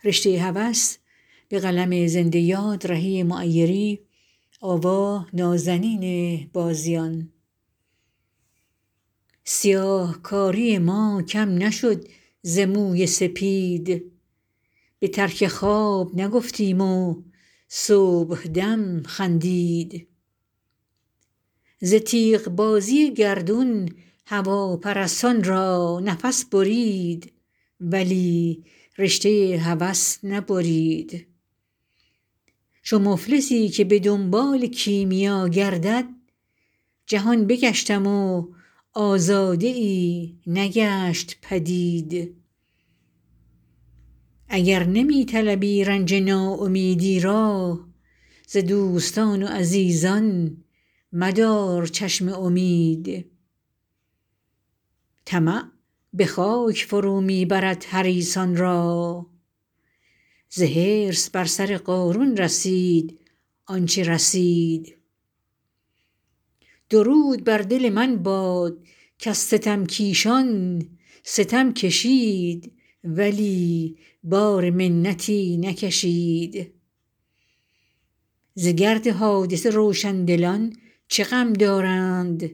سیاهکاری ما کم نشد ز موی سپید به ترک خواب نگفتیم و صبحدم خندید ز تیغ بازی گردون هواپرستان را نفس برید ولی رشته هوس نبرید چو مفلسی که به دنبال کیمیا گردد جهان بگشتم و آزاده ای نگشت پدید اگر نمی طلبی رنج ناامیدی را ز دوستان و عزیزان مدار چشم امید طمع به خاک فرو می برد حریصان را ز حرص بر سر قارون رسید آنچه رسید درود بر دل من باد کز ستم کیشان ستم کشید ولی بار منتی نکشید ز گرد حادثه روشندلان چه غم دارند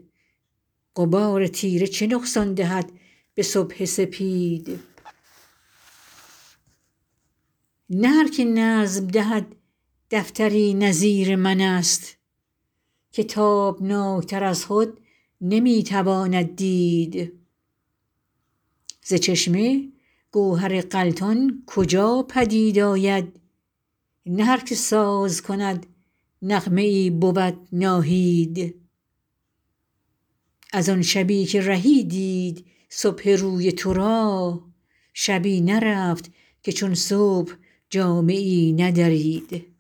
غبار تیره چه نقصان دهد به صبح سپید نه هرکه نظم دهد دفتری نظیر من است که تابناک تر از خود نمی تواند دید ز چشمه گوهر غلتان کجا پدید آید نه هرکه ساز کند نغمه ای بود ناهید از آن شبی که رهی دید صبح روی تو را شبی نرفت که چون صبح جامه ای ندرید